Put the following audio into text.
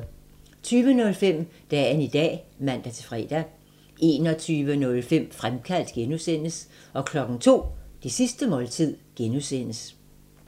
20:05: Dagen i dag (man-fre) 21:05: Fremkaldt (G) 02:00: Det sidste måltid (G)